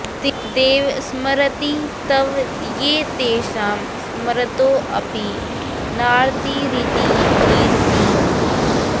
देव स्मरंति तव ये तेषां स्मरतोऽपि नार्तिरिति कीर्तिम्